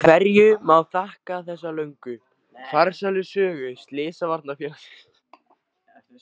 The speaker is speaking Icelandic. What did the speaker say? Hverju má þakka þessa löngu, farsælu sögu Slysavarnarfélagsins?